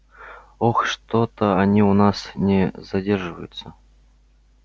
ох что-то они у нас не задерживаются